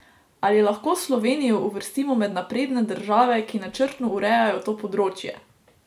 Ali lahko Slovenijo uvrstimo med napredne države, ki načrtno urejajo to področje?